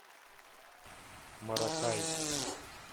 маракай